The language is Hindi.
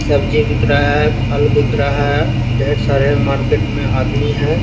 सब्जी बिक रहा है फल बिक रहा है ढेर सारे मार्केट में आदमी है।